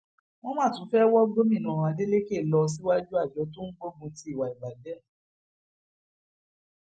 wọn má tún fẹẹ wọ gómìnà adeleke lọ síwájú àjọ tó ń gbógun ti ìwà ìbàjẹ